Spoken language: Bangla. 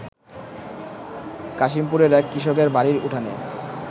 কাশিমপুরের এক কৃষকের বাড়ির উঠানে